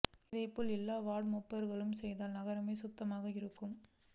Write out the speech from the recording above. இதைபோல் எல்லா வார்டு மெம்பர்களும் செய்தால் நகரமே சுத்தமாக இருக்கும்